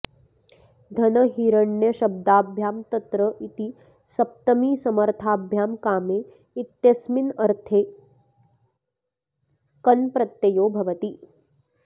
धनहिरण्यशब्दाभ्यां तत्र इति सप्तमीसमर्थाभ्यां कामे इत्यस्मिन्नर्थे कन् प्रत्ययो भवति